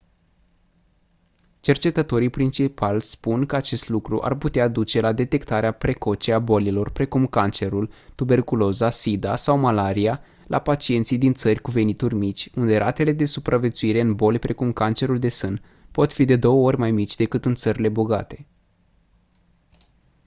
cercetătorii principali spun că acest lucru ar putea duce la detectarea precoce a bolilor precum cancerul tuberculoza sida sau malaria la pacienții din țări cu venituri mici unde ratele de supraviețuire în boli precum cancerul de sân pot fi de două ori mai mici decât în țările bogate